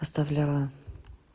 оставляла